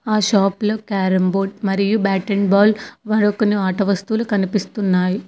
ఆ షాప్ లో carrom board మరియు బ్యాట్ అండ్ బోల్ మరి కొన్ని ఆట వస్తువులు కనిపిస్తున్నాయి.